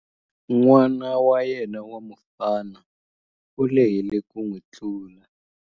N'wana wa yena wa mufana u lehile ku n'wi tlula.